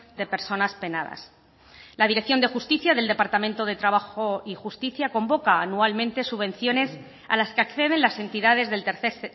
de personas penadas la dirección de justicia del departamento de trabajo y justicia convoca anualmente subvenciones a las que acceden las entidades del tercer